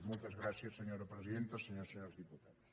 moltes gràcies senyora presidenta senyores i senyors diputats